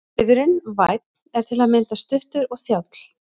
Liðurinn- vænn er til að mynda stuttur og þjáll.